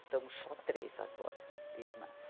Estamos só três agora, irmãs.